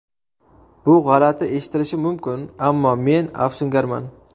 Bu g‘alati eshitilishi mumkin, ammo men afsungarman.